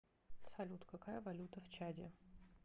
салют какая валюта в чаде